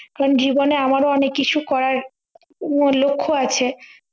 কেনো জীবনে আমারও অনেক কিছু করার উহ লক্ষ্য আছে